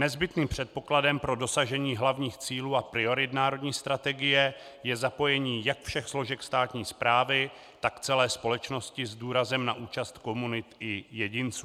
Nezbytným předpokladem pro dosažení hlavních cílů a priorit národní strategie je zapojení jak všech složek státní správy, tak celé společnosti s důrazem na účast komunit i jedinců.